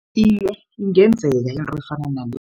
Iye, ingenzeka into efana nale.